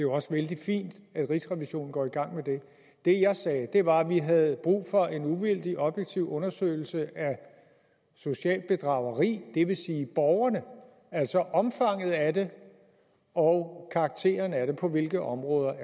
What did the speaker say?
også vældig fint at rigsrevisionen går i gang med det det jeg sagde var at vi havde brug for en uvildig objektiv undersøgelse af socialt bedrageri det vil sige af borgerne altså omfanget af det og karakteren af det på hvilke områder